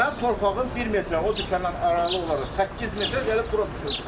Mənim torpağım bir metr o dükanla aralıq olaraq 8 metr gəlib bura düşür.